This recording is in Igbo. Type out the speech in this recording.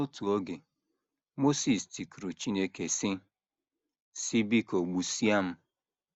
N’otu oge, Mosis tikuru Chineke, sị: sị: ‘ Biko, gbusịa m. ’